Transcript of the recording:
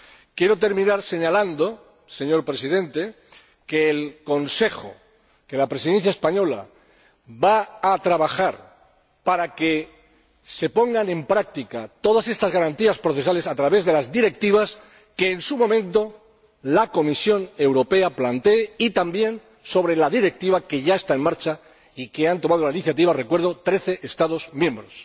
Quiero terminar señalando, señor Presidente, que el Consejo y la Presidencia española van a trabajar para que se pongan en práctica todas estas garantías procesales, a través de las Directivas que en su momento la Comisión Europea plantee y también sobre la Directiva que ya está en marcha y a cuyo respecto han tomado la iniciativa recuerdo trece Estados miembros.